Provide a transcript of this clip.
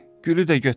Gülü də götür.